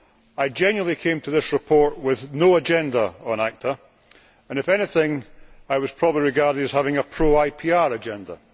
I genuinely came to this report with no agenda on ACTA and, if anything, I was probably regarded as having a pro IPR agenda.